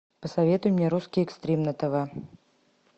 посоветуй мне русский экстрим на тв